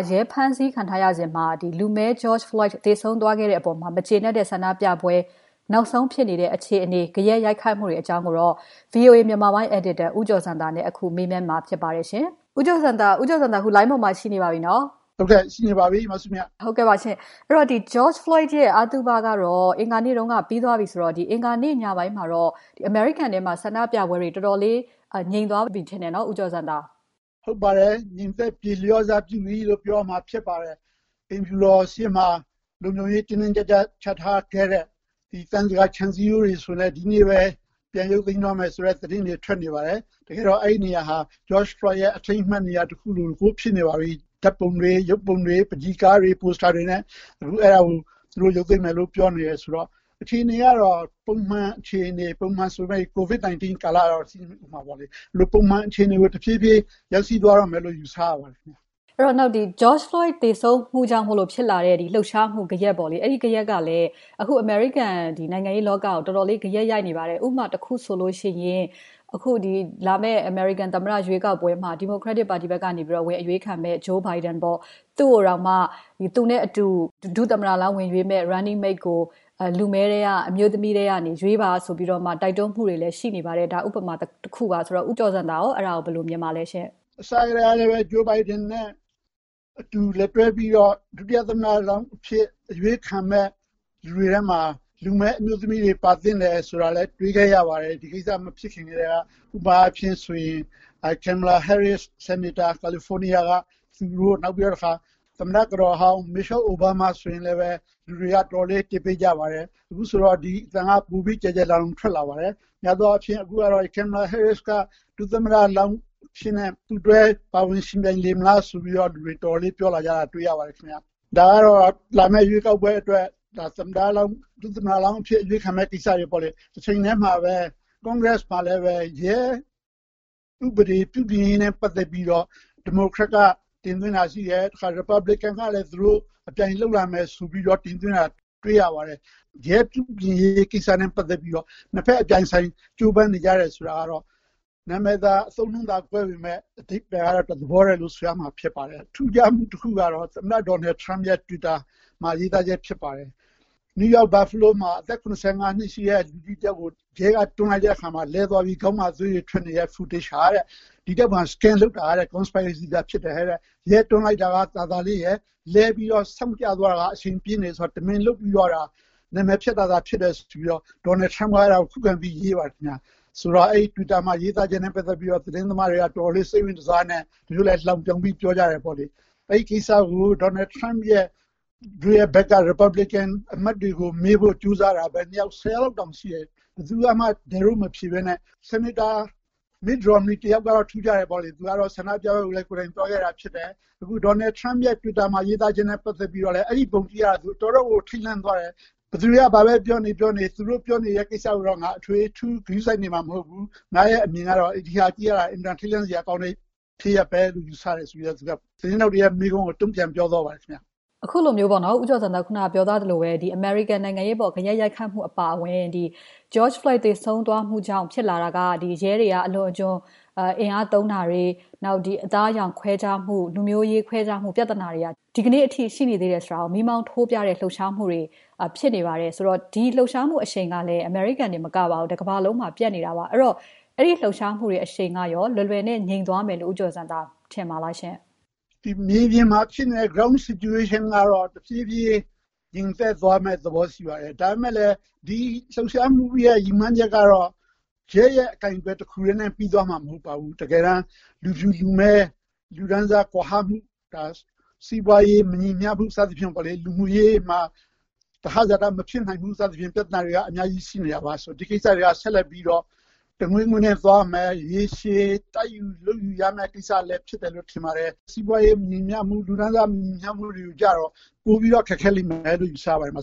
ရဲဖမ်းဆီးခံထားရစဉ် လူဖြူရဲကြောင့် သေဆုံးခဲ့ရတဲ့အပေါ် မကျေနပ်တဲ့ ဆန္ဒပြပွဲလှုပ်ရှားမှု နောက်ဆုံး အခြေအနေ ဂယက်ရိုက်ခတ်မှုတွေကို VOA မြန်မာပိုင်းအယ်ဒီတာ ဦးကျော်ဇံသာနဲ့ မစုမြတ်မွန် မေးမြန်းထားပါတယ်။ George Floyd ရဲ့အသုဘ အင်္ဂါနေ့ကပြီးသွားတဲ့နောက်ပိုင်း အင်္ဂါနေ့ ညပိုင်း ဆန္ဒပြမှုတွေ တော်တော်လေး နည်းသွားတယ်ထင်တယ် ဦးကျော်ဇံသာ။ ဟုတ်ပါတယ်။ ငြိမ်းသက်ပြေလျော့စပြုပြီလို့ ပြောရမှာဖြစ်ပါတယ်။ အိမ်ဖြူတော်ရှေ့ မှာ လုံခြုံရေး တင်းတင်းကြပ်ကြပ်ချထားခဲ့တဲ့ သံစကာခြံစည်းရိုးတွေဆို ဒီကနေ့ကစပြီး တချို့ဖယ်ရှားမယ်ဆိုတဲ့ သတင်းတွေထွက်နေပါတယ်။ တကယ်တော့ အဲဒီနေရာဟာ George Floyd ရဲ့ အထိမ်းအမှတ် နေရာတခုလိုကို ဖြစ်နေပါပြီ။ ဓါတ်ပုံတွေ၊ ရုပ်ပုံတွေ၊ ပန်းချီကားတွေ၊ ပိုစတာတွေနဲ့၊ အခုအဲဒါတချို့ ရုပ်သိမ်းမယ် ပြောနေတော့ အခြေအနေကတော့ ပုံမှန်အခြေအနေ၊ ပုံမှန်ဆိုပေမဲ့ COVID-19 အခြေအနေတော့ ရှိနေဦးမှာပါ။ ဒါပေမဲ့ ပုံမှန်အခြေအနေကို တဖြည်းဖြည်း ရောက်ရှိသွားမယ်လို့ ယူဆရပါတယ်။ George Floyd သေဆုံးသွားလို့ဖြစ်လာတဲ့ လှုပ်ရှားမှု ဂယက်ကလည်း အမေရိကန်နိုင်ငံရေးလောကကို တော်တော်လေး ဂယက်ရိုက်နေပါတယ်။ ဥပမာတခုဆိုရင် လာမယ့်သမ္မတရွေးကောက်ပွဲကျရင် Democratic ပါတီဘက်က သမ္မတလောင်း ဝင်အရွေးခံမယ့် Joe Biden နဲ့အတူ ဒုသမ္မတလောင်း Running mate ကို လူမည်းအမျိုးသမီးတယောက်ယောက်ကို ရွေးပါဆိုတဲ့ တိုက်တွန်းမှုတွေလည်း ရှိနေပါတယ်။ ဒီအပေါ်မှာရော ဦးကျော်ဇံသာ ဘယ်လိုမြင်ပါလဲ။ အစထဲကလည်း Joe Biden နဲ့အတူတွဲ ဒုသမ္မတလောင်း အရွေးခံမယ့်သူတွေထဲမှ လူမည်း အမျိုးသမီးပါသင့်တယ်ဆိုတာလည်း တွေ့ခဲ့ရပါတယ်။ ဒီကိစ္စ မဖြစ်ခင်ထဲကပါ။ ဥပမာ California က Senator Kamala Harris နောက်တခါ သမ္မတကတော်ဟောင်း Michelle Obama ဆိုရင်လည်း လူတွေက တော်တော်လေး တစ်ပေးကြပါတယ်။ အခုတော့ ဒီအသံက ပိုပြီး ကျယ်ကျယ်လောင်လောင် ထွက်လာပါတယ်။ များသောအားဖြင့် Kamala Harris က ဒုသမ္မတလောင်းအဖြစ် ပါဝင်ယှဉ်ပြိုင်လာမလားဆိုတာ တော်တော်လေး ပြောလာတာ တေ့ွရပါတယ်။ ဒါကတော့ လာမယ့်ရွေးကောက်ပွဲအတွက် အရွေးခံဖို့ကိစ္စတွေပါ။ တချိန်ထဲမှာပဲ Congress မှာ ရဲဥပဒေပြုပြင်ရေးနဲ့ ပတ်သက်ပြီး Democrat က တင်သွင်းတာရှိတယ်။ Republican ဘက်ကလည်း အပြိုင်လုပ်မယ်ဆိုပြီး တင်သွင်းတာ တွေ့ရပါတယ်။ ရဲပြုပြင်ရေးကိစ္စနဲ့ပါတ်သက်ပြီး နှစ် ဘက် အပြိုင်အဆိုင်ကြိုးပမ်းနေကြတာကတော့ နာမည်သာ၊ အဓိပ္ပါယ်သာကွဲပြီး တသဘောထဲလို့ ဆိုရမှာဖြစ်ပါတယ်။ ထူးခြားမှုတခုက သမ္မတ Donald Trump ရဲ့ Twitter မှာရေးသားမှုဖြစ်ပါတယ်။ New York ပြည်နယ် Buffalo မြို့မှာ အသက် ၇၅ နှစ်အရွယ် လူကြီးတယောက်ကို ရဲက တွန်းလိုက်လို့ လဲသွားပြီး ခေါင်းမှာ သွေးထွေထွက်နေတဲ့ Video ဟာတဲ့ Scam လုပ်တာတဲ့ Conspiracy သာဖြစ်တယ်တဲ့။ ရဲတွန်းလိုက်တာက သာသာလေးရယ်။ ဆောင့်ကြသွားတာက အရှိန်ပြင်းတယ်ဆိုတာ တမင်လုပ်ပြီး နာမည်ဖျက်တာဖြစ်တယ်လို့ Donald Trump က ခုခံပြီးရေးပါတယ်။ အဲဒီ Twitter မှာ ရေးသားချက်နဲ့ ပတ်သက်လို့ သတင်းသမားတွေက တော်တော်လေး စိတ်ဝင်တစားနဲ့ သမ္မတရဲ့ Republican ပါတီအမတ်တွေကို မေးဖို့ကြိုးစားတာ ၁၀ လောက်တောင်ရှိတယ်ထင်ပါတယ်။ ဘယ်သူကမှ ဒဲ့ထိုး မဖြေဘဲ Senator Mitt Romney တယောက်ကပဲ ထူးခြားတယ်။ သူကတော့ ဆန္ဒပြပွဲကိုလည်း ကိုယ်တိုင်သွားခဲ့တယ်။ အခု Donald Trump ရဲ့ Twitter မှာရေးသားချက်နဲ့ ပတ်သက်ပြီးတော့လည်း “အဲဒီပုံတေ့ွရတာ သူတော်တော့်ကို ထိတ်လန့်သွားတယ်။ ဘယ်သူတွေက ပြောနေ ပြောနေ သူတို့ပြောတာကို အထွေအထူး ဂရုစိုက်နေမှာ မဟုတ်ဘူး။ သူ့အမြင်ကတော့ ဒီဟာကြည့်ရဟာ အင်မတန် ထိတ်လန့်စရာဖြစ်ရပ်ပဲလို့ ယူဆတယ်။” ဆိုပြီးတော့ သတင်းထောက်တွေရဲ့ မေးခွန်းကို သူက တုံ့ပြန်ပြောသွားပါတယ်ခင်ဗျ။ အခုလိုမျိုး ဦးကျော်ဇံသာပြောသွားသလိုပဲ အမေရိကန်နိုင်ငံရေးအပေါ် ဂယက်ရိုက်ခတ်မှုအပါအဝင် George Floyd သေဆုံးသွားမှုကြောင့် ဖြစ်လာတာက၊ ရဲတွေအလွန်အကျွံ အင်အားသုံးတာတွေ၊ လူမျိုးရေးခွဲခြားမှု၊ အသားအရောင်ခွဲခြားမှုပြဿနာတွေက ဒီနေ့အထိ ရှိနေသေးတယ်ဆိုတာကို လှုပ်ရှားမှုတွေနဲ့ မီးမောင်းထိုးပြနေကြတာပါ။ လှုပ်ရှားမှုအရှိန်ကလည်း အမေရိကန် တခုထဲမှာ မဟုတ်ပါဘူး။ တကမ္ဘာလုံးမှာ ပြန့်နေတာပါ။ အဲဒီလှုပ်ရှားမှုတွေ အရှိန်ကရော လွယ်လွယ်နဲ့ ငြိမ်သွားမယ်လို့ ဦးကျော်ဇံသာ မြင်ပါလား။ မြေပြင်မှာဖြစ်နေတဲ့ Ground situation ကတော့ တဖြည်းဖြည်း ငြိမ်သက်သွားမယ့် သဘောရှိပါတယ်။ ဒါပေမဲ့လည်း ဒီလှုပ်ရှားမှုရဲ့ ရည်မှန်းချက်ကတော့ ရဲရဲ့ အကိုင်အတွယ် တခုထဲနဲ့ ပြီးသွားမှာ မဟုတ်ပါဘူး။ လူဖြူ လူမည်း လူတန်းစားကွာဟမှု၊ စီးပွားရေး မညီမ ျှမှု၊ လူမှုရေးမှာ သဟဇာတ မဖြစ်နိုင်မှု စသဖြင့် ပြဿနာတွေက အများကြီးရှိနေတာပါ။ ဒီကိစ္စတွေက တငွေ့ငွေ့နဲ့သွားရမယ်။ ရေရှည် တိုက်ယူ လုပ်ယူရမယ့် ကိစ္စဖြစ်တယ်လို့လည်း ထင်ပါတယ်။ စီးပွားရေးမညီမ ျှမှု၊ လူတန်းစား မညီမ ျှမှုတွေကျတော့ ပိုပြီးတော့ ခက်ခဲလိမ့်မယ်လို့ ယူဆပါတယ် မ